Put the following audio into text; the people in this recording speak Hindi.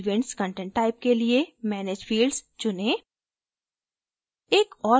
फिर events content type के लिए manage fields चुनें